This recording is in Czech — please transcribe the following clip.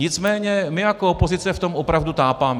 Nicméně my jako opozice v tom opravdu tápeme.